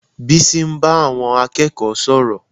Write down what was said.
Bísí ń bá àwọn akẹ́kọ̀ọ́ sọ̀rọ̀